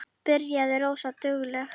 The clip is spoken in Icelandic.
Byrjaði rosa dugleg.